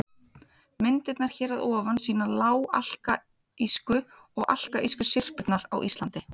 Myndirnar hér að ofan sýna lág-alkalísku og alkalísku syrpurnar á Íslandi.